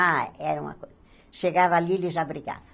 Ah, era uma co... Chegava ali, ele já brigava.